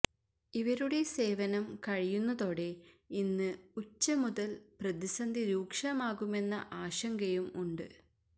ഇവരുടെ സേവനം കഴിയുന്നതോടെ ഇന്ന് ഉച്ച മുതൽ പ്രതിസന്ധി രൂക്ഷമാകുമെന്ന ആശങ്കയും ഉണ്ട്